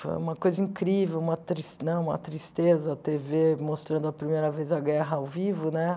Foi uma coisa incrível, uma tris né uma tristeza, a tê vê mostrando a primeira vez a guerra ao vivo, né?